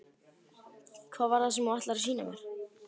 Hvað var það sem þú ætlaðir að sýna mér?